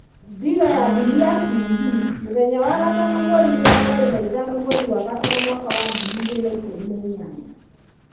Dira ya Dunia TV mũthenya wa gatano 25.05.2018